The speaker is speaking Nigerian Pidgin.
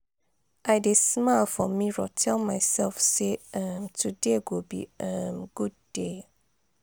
i dey smile for mirror tell mysef say um today go be um good day.